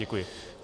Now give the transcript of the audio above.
Děkuji.